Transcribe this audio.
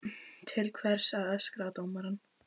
Til hvers að öskra á dómarann?